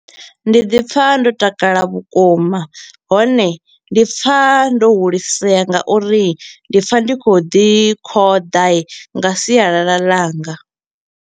Ndi ḓi pfa ndo takala vhukuma, hone ndi pfa ndo hulisea nga uri ndi pfa ndi kho u ḓi khoḓa nga sialala langa.